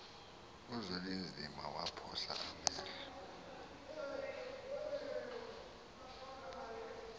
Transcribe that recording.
uzwelinzima waphosa amehlo